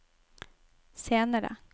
senere